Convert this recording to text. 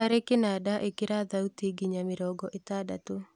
hari kĩnanda ĩkira thauti nginya mĩrongo ĩtandatũ